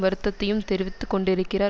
வருத்தத்தையும் தெரிவித்து கொண்டிருக்கிறார்